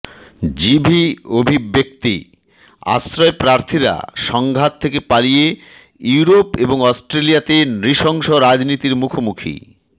GV অভিব্যক্তিঃ আশ্রয়প্রার্থীরা সংঘাত থেকে পালিয়ে ইউরোপ এবং অস্ট্রেলিয়াতে নৃশংস রাজনীতির মুখোমুখি